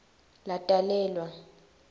latalelwa